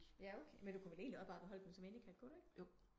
Ja okay men du kunne vel endeligt også bare beholde den som indekat kunne du ikke